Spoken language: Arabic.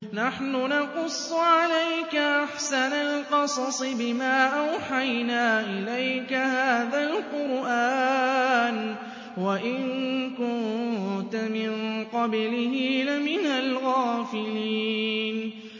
نَحْنُ نَقُصُّ عَلَيْكَ أَحْسَنَ الْقَصَصِ بِمَا أَوْحَيْنَا إِلَيْكَ هَٰذَا الْقُرْآنَ وَإِن كُنتَ مِن قَبْلِهِ لَمِنَ الْغَافِلِينَ